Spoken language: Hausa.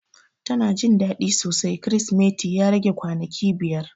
Ta na Jin dadi sosai krisimeti ya rage kwanaki biyar.